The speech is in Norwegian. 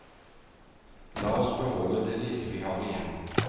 La oss beholde det lille vi har igjen.